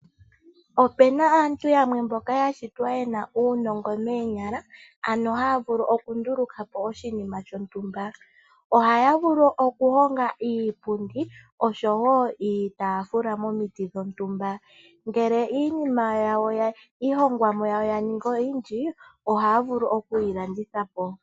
Opena aantu yamwe mboka yashitwa yena uunongo moonyala ano taya vulu okundulukapo oshinima shontumba. Ohaya vulu okuhonga iipundi osho woo iitafula momiti dhontumba ngele iihongomwa yawo yaningi oyindji ohaya vulu okuyilandithapo.